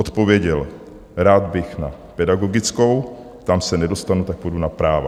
Odpověděl: Rád bych na pedagogickou, tam se nedostanu, tak půjdu na práva.